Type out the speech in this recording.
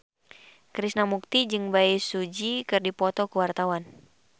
Krishna Mukti jeung Bae Su Ji keur dipoto ku wartawan